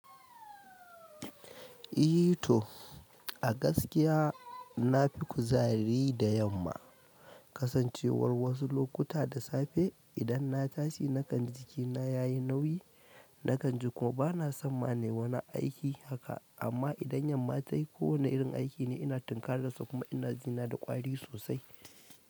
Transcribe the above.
I to a gaskiya na fi kuzari da yamma. Kasancewar wasu lokuta da safe idan na tashi nakan ji jikina ya yi nauyi, nakan ji kuma bana son ma ne wani aiki haka. Amma idan yamma ta yi kowane irin aiki ne ina tinkarar sa kuma ina jina da ƙwari sosai.